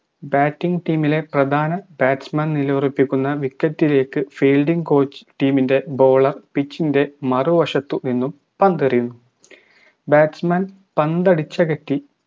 batting team ലെ പ്രധാന batsman നിലയുറപ്പിക്കുന്ന wicket ലേക്ക് fielding coach team ൻറെ baller pitch ൻറെ മറുവശത്തു നിന്നും പന്തെറിയുന്നു batsman പന്തടിച്ചകറ്റി